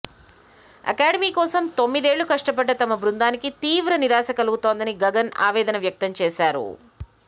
academy కోసం తొమ్మిదేళ్లు కష్టపడ్డ తమ బృందానికి తీవ్ర నిరాశ కలుగుతోందని గగన్ ఆవేదన వ్యక్తం చేశారు